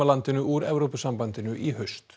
landinu úr Evrópusambandinu í haust